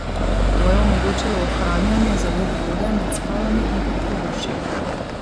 To je omogočilo ohranjanje zalog vode med skalami in pod površjem.